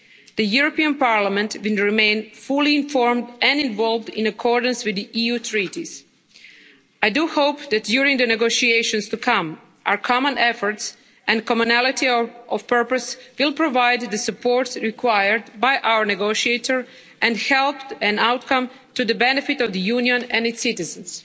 The European Parliament will remain fully informed and involved in accordance with the EU treaties. I do hope that, during the negotiations to come, our common efforts and commonality of purpose will provide the support required by our negotiator and help to achieve an outcome to the benefit of the Union and its citizens.